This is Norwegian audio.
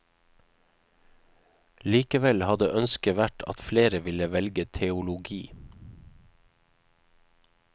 Likevel hadde ønsket vært at flere ville velge teologi.